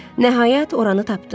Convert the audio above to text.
Nəhayət oranı tapdı.